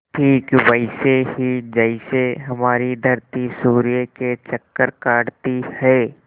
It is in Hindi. ठीक वैसे ही जैसे हमारी धरती सूर्य के चक्कर काटती है